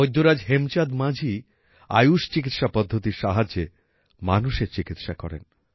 বৈদ্যরাজ হেমচাঁদ মাঝি আয়ুষ চিকিৎসা পদ্ধতির সাহায্যে মানুষের চিকিৎসা করেন